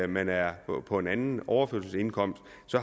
man er på på en anden overførselsindkomst